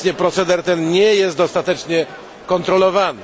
Obecnie proceder ten nie jest dostatecznie kontrolowany.